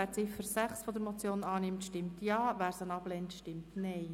Wer die Ziffer 6 der Motion annimmt, stimmt Ja, wer diese ablehnt, stimmt Nein.